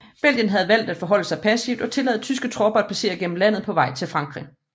Belgien kunne havde valgt at forholde sig passiv og tillade tyske tropper at passere gennem landet på vej til Frankrig